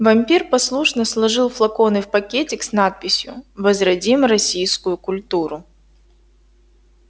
вампир послушно сложил флаконы в пакетик с надписью возродим российскую культуру